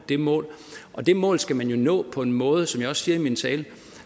det mål det mål skal nå på en måde som jeg også siger i min tale